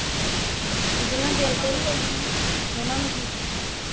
ਜਿਨਾ ਦਿਲ ਤੇ ਨੀ ਲਾਉਣੀ, ਉਹਨਾਂ ਨੂੰ ਕੀ